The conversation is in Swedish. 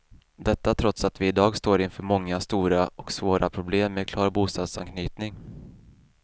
Detta trots att vi i dag står inför många stora och svåra problem med klar bostadsanknytning.